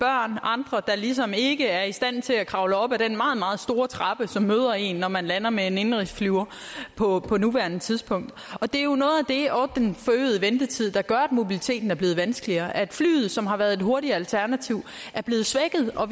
andre der ligesom ikke er i stand til at kravle op ad den meget meget store trappe som møder en når man lander med en indenrigsflyver på på nuværende tidspunkt det og den forøgede ventetid der gør at mobiliteten er blevet vanskeligere at flyet som har været et hurtigt alternativ er blevet svækket og